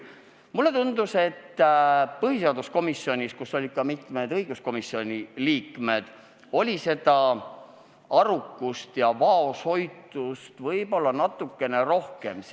Mulle tundub, et põhiseaduskomisjonis, kus olid kohal ka mitmed õiguskomisjoni liikmed, oli arukust ja vaoshoitust natukene rohkem.